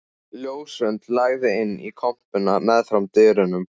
Ljósrönd lagði inn í kompuna meðfram dyrunum.